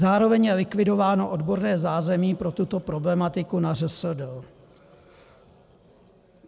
Zároveň je likvidováno odborné zázemí pro tuto problematiku na ŘSD.